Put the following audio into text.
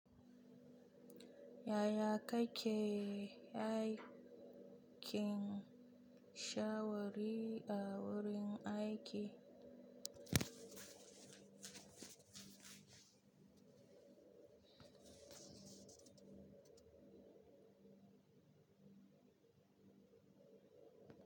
Yaya kake haikin shawari a wurin aiki?